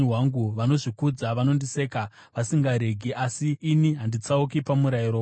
Vanozvikudza vanondiseka vasingaregi, asi ini handitsauki pamurayiro wenyu.